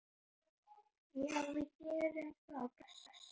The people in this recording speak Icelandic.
Já, við gerum það. Bless.